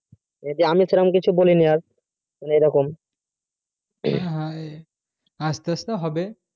আমি তো সেইরকম কিছু বলিনি আর এইরকম আসতে আসতে হবে